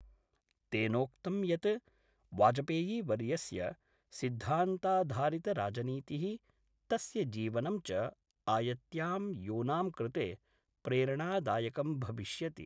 तेनोक्तं यत् वाजपेयीवर्यस्य सिद्धान्ताधारितराजनीति: तस्य जीवनं च आयत्यां यूनांकृते प्रेरणादायकं भविष्यति।